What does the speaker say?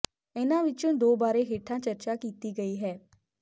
ਇਨ੍ਹਾਂ ਵਿੱਚੋਂ ਦੋ ਬਾਰੇ ਹੇਠਾਂ ਚਰਚਾ ਕੀਤੀ ਗਈ ਹੈ